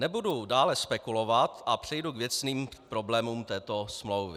Nebudu dále spekulovat a přejdu k věcným problémům této smlouvy.